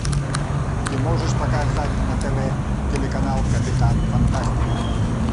ты можешь показать на тв телеканал капитан фантастика